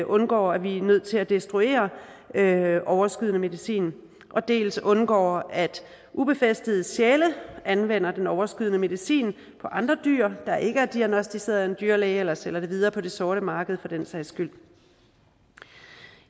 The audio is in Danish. undgår at vi er nødt til at destruere overskydende medicin dels undgår at ubefæstede sjæle anvender den overskydende medicin på andre dyr der ikke er diagnosticeret af en dyrlæge eller sælger det videre på det sorte marked den sags skyld